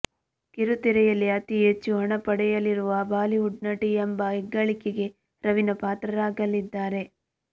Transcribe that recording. ಕಿರುತೆರೆಯಲ್ಲಿ ಅತಿ ಹೆಚ್ಚು ಹಣ ಪಡೆಯಲಿರುವ ಬಾಲಿವುಡ್ ನಟಿ ಎಂಬ ಹೆಗ್ಗಳಿಕೆಗೆ ರವೀನಾ ಪಾತ್ರರಾಗಲಿದ್ದಾರೆ